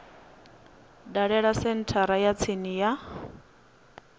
dalele senthara ya tsini ya